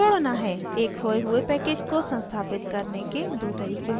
एक खोये हुए package को संस्थापित करने के दो तरीके होते हैं